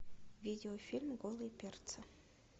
видеофильм голые перцы